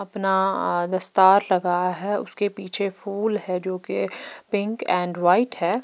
अपना दस्तार लगा है उसके पीछे फूल है जो कि पिंक एंड वाइट है।